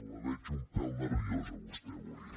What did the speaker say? la veig un pèl nerviosa a vostè avui